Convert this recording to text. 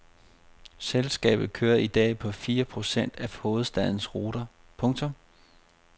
Selskabet kører i dag på fire procent af hovedstadens ruter. punktum